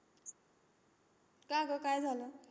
का गं काय झालं?